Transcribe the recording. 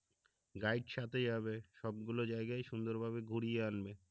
guide সাথেই হবে সব গুলো জায়গায়ই সুন্দরভাবে ঘুরিয়ে আনবে